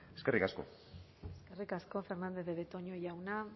eskerrik asko eskerrik asko fernandez de betoño jauna